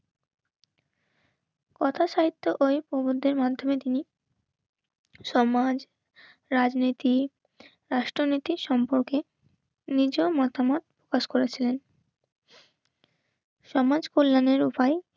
কথা সাহিত্য ওই প্রভুদের মাধ্যমে তিনি সম্মান, রাজনীতি রাষ্ট্রনীতির সম্পর্কে নিজ মতামত প্রকাশ করেছিলেন. সমাজ কল্যাণের উপায়